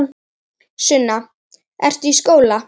Sunna: Ertu í skóla?